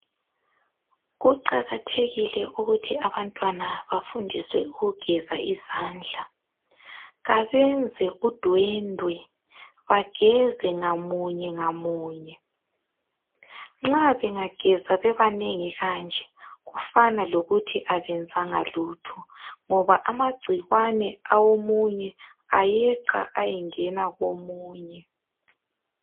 Kuqakathekile ukuthi abantwana bafundiswe ukugeza izandla. Kabenze udwendwe bageze ngamunye ngamunye. Nxa bengageza bebanengi kanje ,kufana lokuthi abenzanga lutho ngoba amagcikwane awomunye ayeqa ayengena komunye.